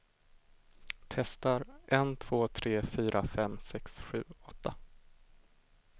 Testar en två tre fyra fem sex sju åtta.